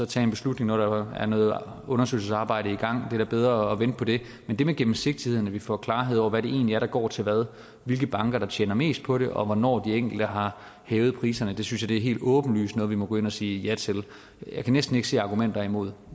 tage en beslutning når der er noget undersøgelsesarbejde i gang det er da bedre at vente på det men det med gennemsigtigheden og at vi får klarhed over hvad det egentlig er der går til hvad hvilke banker der tjener mest på det og hvornår de enkelte har hævet priserne synes jeg helt åbenlyst er noget vi må gå ind og sige ja til jeg kan næsten ikke se argumenter imod